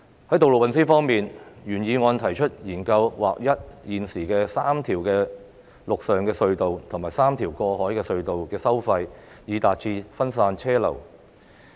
在道路運輸方面，原議案提出"研究劃一現時三條陸上隧道及三條過海隧道的收費，以分散車流量"。